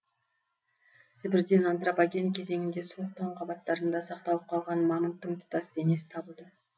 сібірден антропоген кезеңінде суық тоң қабаттарында сақталып қалған мамонттың тұтас денесі табылды